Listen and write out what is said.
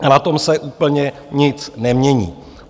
A na tom se úplně nic nemění.